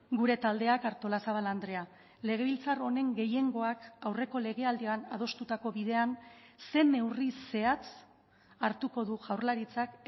gure taldeak artolazabal andrea legebiltzar honen gehiengoak aurreko legealdian adostutako bidean zein neurri zehatz hartuko du jaurlaritzak